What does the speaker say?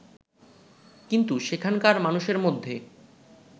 কিন্তু সেখানকার মানুষের মধ্যে